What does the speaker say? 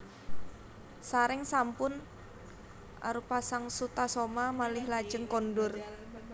Sareng sampun arupa sang Sutasoma malih lajeng kondur